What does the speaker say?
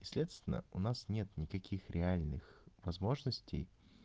следственно у нас нет никаких реальных возможностей